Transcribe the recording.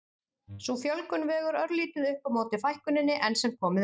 Sú fjölgun vegur örlítið upp á móti fækkuninni enn sem komið er.